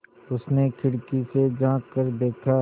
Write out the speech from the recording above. उसने खिड़की से झाँक कर देखा